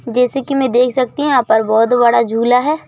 जैसे कि मैं देख सकती हूं यहां पर बहुत बड़ा झूला है।